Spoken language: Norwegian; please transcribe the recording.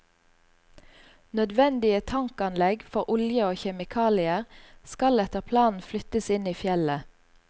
Nødvendige tankanlegg for olje og kjemikalier skal etter planen flyttes inn i fjellet.